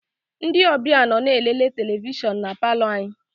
Ndị ọbịa nọ na-elele televishọn na palọ anyị.